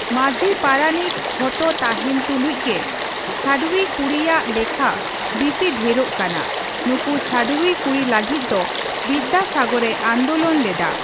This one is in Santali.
ᱢᱟᱹᱡᱷᱤ ᱯᱟᱨᱟᱱᱤᱠ ᱡᱷᱚᱛᱚ ᱛᱟᱦᱮᱱ ᱛᱩᱞᱩᱡ ᱜᱮ ᱪᱷᱟᱹᱰᱣᱤ ᱠᱩᱲᱤᱭᱟᱜ ᱞᱮᱠᱷᱟ ᱵᱤᱥᱤ ᱰᱷᱮᱨᱚᱜ ᱠᱟᱱᱟ ᱾ ᱱᱩᱠᱩ ᱪᱷᱟᱹᱰᱣᱤ ᱠᱩᱲᱤ ᱞᱟᱹᱜᱤᱫ ᱫᱚ ᱵᱤᱫᱽᱫᱟᱥᱟᱜᱚᱨᱮ ᱟᱱᱫᱳᱞᱚᱱ ᱞᱮᱫᱟ ᱾